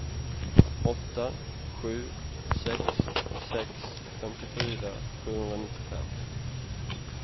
åtta sju sex sex femtiofyra sjuhundranittiofem